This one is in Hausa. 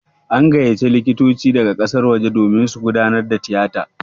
An gayyaci likitoci daga ƙasar waje domin su gudanar da tiyatan.